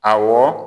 Awɔ